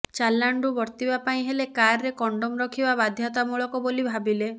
ଚାଲାଣରୁ ବର୍ତ୍ତିବା ପାଇଁ ହେଲେ କାର୍ରେ କଣ୍ଡୋମ୍ ରଖିବା ବାଧ୍ୟତାମୂଳକ ବୋଲି ଭାବିଲେ